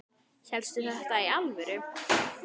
Hélstu þetta í alvöru?